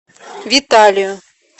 виталию